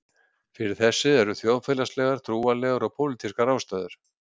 Fyrir þessu eru þjóðfélagslegar, trúarlegar og pólitískar ástæður.